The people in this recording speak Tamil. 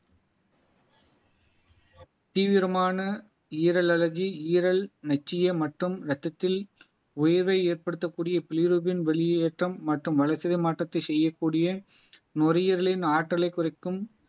தீவிரமான ஈரல் அழகி ஈரல் நொச்சிய மற்றும் ரத்தத்தில் உயர்வை ஏற்படுத்தக்கூடிய பிலிரூபின் வெளியேற்றம் மற்றும் வளர்சிதை மாற்றத்தை செய்யக்கூடிய நுரையீரலின் ஆற்றலை குறைக்கும்